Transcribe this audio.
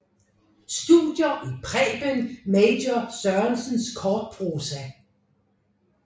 Studier i Preben Major Sørensens kortprosa